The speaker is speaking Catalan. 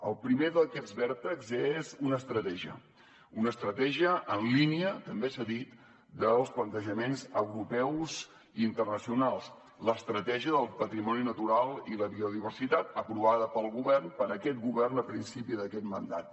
el primer d’aquests vèrtexs és una estratègia una estratègia en línia també s’ha dit amb els plantejaments europeus i internacionals l’estratègia del patrimoni natural i la biodiversitat aprovada pel govern per aquest govern a principis d’aquest mandat